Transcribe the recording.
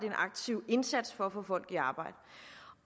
en aktiv indsats for at få folk i arbejde